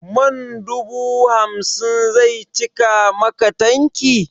Man dubu hamsin zai cika maka tanki?